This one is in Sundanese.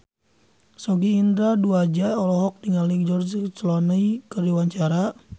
Sogi Indra Duaja olohok ningali George Clooney keur diwawancara